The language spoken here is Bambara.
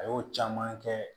A y'o caman kɛ